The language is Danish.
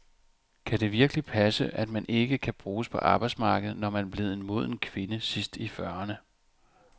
Kan det virkelig passe, at man ikke kan bruges på arbejdsmarkedet, når man er blevet en moden kvinde sidst i fyrrerne?